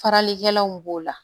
Faralikɛlaw b'o la